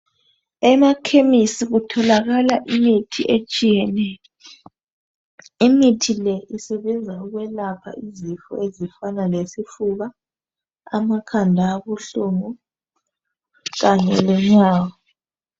Emakhemesi kutholakala imithi etshiyeneyo. Imithile isebenza ukwelapha izifo ezifana lesifuba, amakhanda abuhlungu kanye lenyawo.